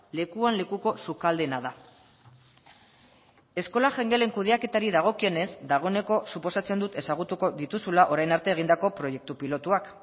lekuan lekuko sukaldeena da eskola jangelen kudeaketari dagokionez dagoeneko suposatzen dut ezagutuko dituzula orain arte egindako proiektu pilotuak